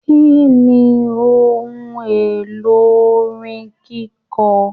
Kínní ohùn èlò orin kikọ?